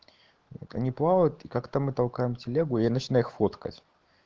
они плавают как-то мы толкаем телегу я начинаю их фоткать